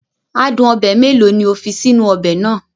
Adun obe mélòó ni o fi sínú ọbẹ̀ náà?